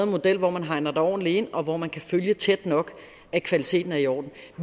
model hvor man hegner det ordentligt ind og hvor man kan følge tæt nok at kvaliteten er i orden